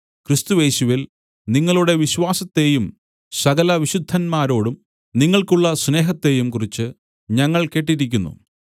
ക്രിസ്തുയേശുവിൽ നിങ്ങളുടെ വിശ്വാസത്തെയും സകലവിശുദ്ധത്മാരോടും നിങ്ങൾക്കുള്ള സ്നേഹത്തെയും കുറിച്ച് ഞങ്ങൾ കേട്ടിരിക്കുന്നു